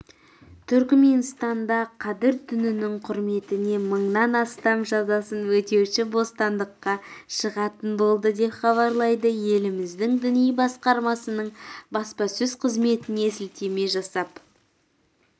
түрікменстанда қадір түнінің құрметіне мыңнан астам жазасын өтеуші бостандыққа шығатын болды деп хабарлайды еліміздің діни басқармасының баспасөз қызметіне сілтеме жасап